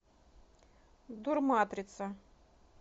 дурматрица